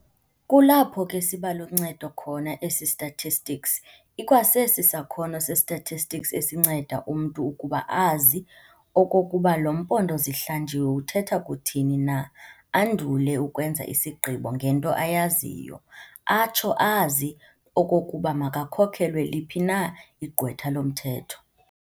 Kulapho ke sibaluncedo khona esi statistics. ikwa sesi sakhono se-statistics esinceda umntu ukuba azi okokuba lo mpondo zihlanjiwe uthetha kuthini na andule ukwenza isigqibo ngento ayaziyo, atsho azi okokuba makhokelwe liphi na igqwetha lomthetho.